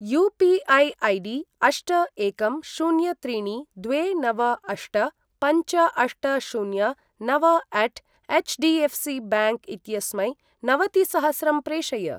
UPI. ID अष्ट एकं शून्य त्रीणि द्वे नव अष्ट पञ्च अष्ट शून्य नवअट एचडीएफसीबैंक इत्यस्मै नवतिसहस्रं प्रेषय।